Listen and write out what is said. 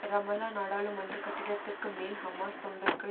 Ramallah நாடாளுமன்ற கட்டிடத்திற்கு மேல் ஹமாஸ் தொண்டர்கள்